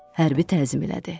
Hərbi təzim elədi.